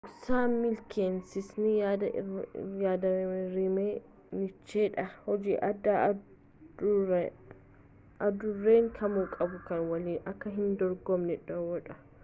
dhoksaan milkaayinasaanii yaad-rimee nicheedha hojii addaa adurreen kamuu qabu kan waliin akka hin dorgomne dhowwu